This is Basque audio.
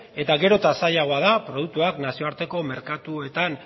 eta gero eta zailagoa da produktuak nazioarteko merkatuetan